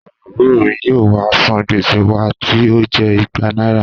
Àwọn àbùrò mi yóò wá san gbèsè wa tí ó jẹ́ igba náírà